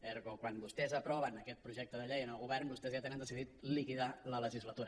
ergo quan vostès aproven aquest projecte de llei en el govern vostès ja tenen decidit liquidar la legislatura